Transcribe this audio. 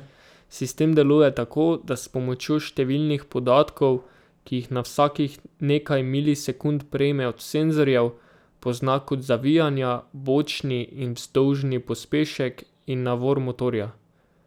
Sistem deluje tako, da s pomočjo številnih podatkov, ki jih na vsakih nekaj milisekund prejme od senzorjev, pozna kot zavijanja, bočni in vzdolžni pospešek in navor motorja.